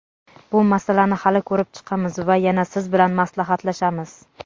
Bu masalani hali ko‘rib chiqamiz va yana siz bilan maslahatlashamiz.